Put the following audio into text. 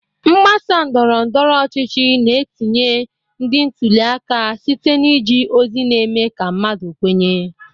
Mgbasa ndọrọ ndọrọ ọchịchị na-etinye ndị ntuli aka site na iji ozi na-eme ka mmadụ kwenye.